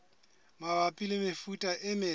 mabapi le mefuta e metle